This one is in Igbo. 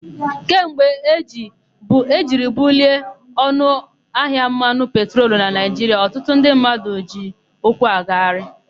Kemgbe e jiri bulie ọnụahịa mmanụ petrolu na Naịjiria, ọtụtụ ndị mmadụ jizi ụkwụ agagharị.